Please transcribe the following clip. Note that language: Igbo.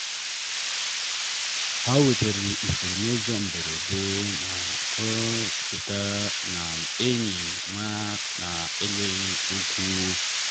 ha wetara ifuru n’ụzọ mberede mee ka ọ cheta na enyi ọma na-ekwughị okwu.